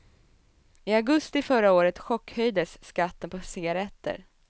I augusti förra året chockhöjdes skatten på cigaretter.